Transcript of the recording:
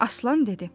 Aslan dedi.